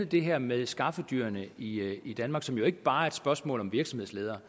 det her med skaffedyrene i i danmark som jo ikke bare er et spørgsmål om virksomhedsledere